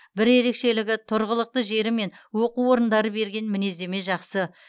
бір ерекшелігі тұрғылықты жері мен оқу орындары берген мінездеме жақсы